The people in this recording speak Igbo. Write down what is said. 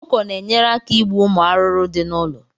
Ọkụkọ na enyere aka ịgbu ụmụ arụrụ dị na ụlọ